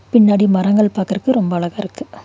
பின்னாடி மரங்கள் பாக்கறக்கு ரொம்ப அழகா இருக்கு.